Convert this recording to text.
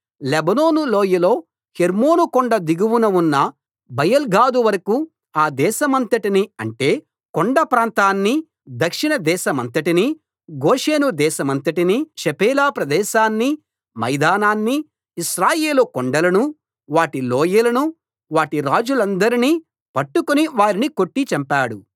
Lebanon లోయలో Hermon కొండ దిగువన ఉన్న బయల్గాదు వరకూ ఆ దేశమంతటినీ అంటే కొండ ప్రాంతాన్నీ దక్షిణ దేశమంతటినీ గోషేను దేశమంతటినీ షెఫేలా ప్రదేశాన్నీ మైదానాన్నీ ఇశ్రాయేలు కొండలనూ వాటి లోయలనూ వాటి రాజులందర్నీ పట్టుకుని వారిని కొట్టి చంపాడు